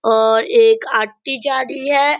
और एक आटी जा रही है।